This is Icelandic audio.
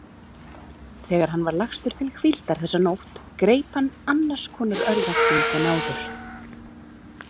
Þegar hann var lagstur til hvíldar þessa nótt greip hann annars konar örvænting en áður.